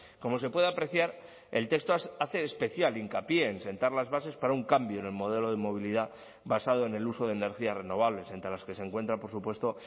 como se puede apreciar el texto hace especial hincapié en sentar las bases para un cambio en el modelo de movilidad basado en el uso de energías renovables entre las que se encuentra por supuesto